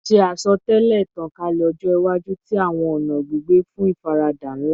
Ṣe asọtẹlẹ itankalẹ ọjọ iwaju ti awọn ọna gbigbe fun ifarada nla